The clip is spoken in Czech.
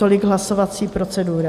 Tolik hlasovací procedura.